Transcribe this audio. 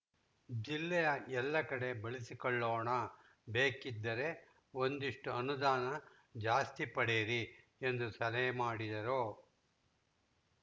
ಜಿಲ್ಲೆಯ ಎಲ್ಲ ಕಡೆ ಬಳಸಿಕೊಳ್ಳೋಣ ಬೇಕಿದ್ದರೆ ಒಂದಿಷ್ಟುಅನುದಾನ ಜಾಸ್ತಿ ಪಡೆಯಿರಿ ಎಂದು ಸಲಹೆ ಮಾಡಿದರು